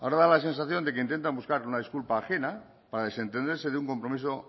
ahora da la sensación de que intentan buscar una disculpa ajena para desentenderse de un compromiso